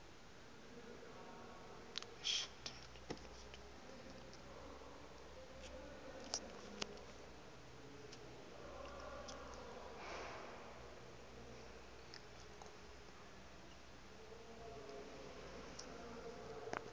dzulaho iḽla khomba ho dzulwa